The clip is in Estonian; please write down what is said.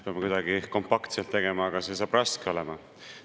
Pean kuidagi kompaktselt tegema, aga see saab raske olema.